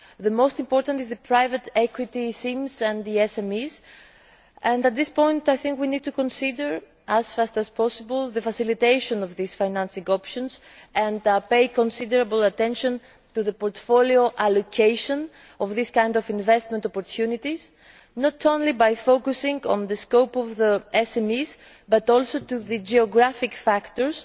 The most important areas are the private equity schemes and the SMEs, and at this point I think we need to consider as fast as possible the facilitation of these financing options and pay considerable attention to the portfolio allocation of these kinds of investment opportunities, not only by focusing on the scope of the SMEs, but also on the geographic factors,